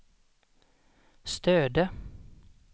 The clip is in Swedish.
Stöde